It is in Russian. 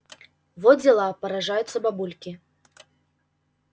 во дела поражаются бабульки